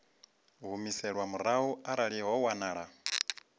humiselwa murahu arali ho wanala